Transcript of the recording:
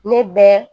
Ne bɛ